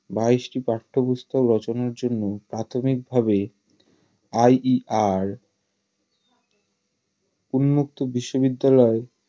বাইশটি পাঠ্যপুস্তক রচনার জন্য প্রাথমিকভাবে IDR উন্মুক্ত বিশ্ববিদ্যালয়